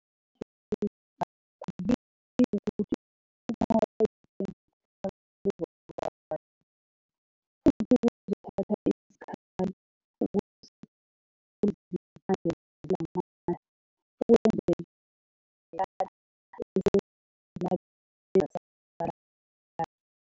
Ngasho ngaphambilini ukuthi ukunqoba impi yenkohlakalo kuzoba nzima, futhi kuzothatha isikhathi ukusiphula izimpande zalamandla okwenzelelana esezinabe zasabalala.